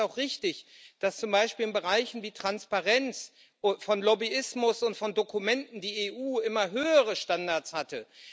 Deshalb ist es auch richtig, dass zum Beispiel in Bereichen wie Transparenz von Lobbyismus und von Dokumenten die EU immer höhere Standards hatte.